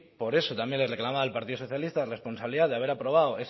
por eso también le reclamaba al partido socialista responsabilidad de haber aprobado